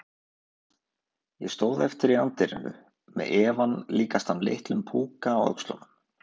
Ég stóð eftir í anddyrinu- með efann líkastan litlum púka á öxlunum.